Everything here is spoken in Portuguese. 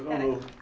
Não Espera Não Aí.